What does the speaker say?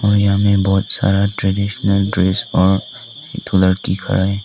और यहां में बहुत सारा ट्रेडिशनल ड्रेस और थोड़ा दिख रहा है।